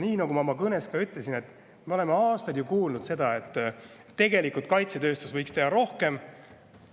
Nagu ma oma kõnes ka ütlesin, me oleme aastaid kuulnud seda, et tegelikult võiks kaitsetööstus teha rohkem.